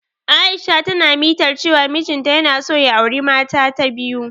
Aisha na ta mitar cewa mijin ta yana so ya auri mata ta biyu.